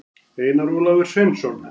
einar ólafur sveinsson